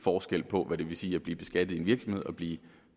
forskel på hvad det vil sige at blive beskattet i en virksomhed og blive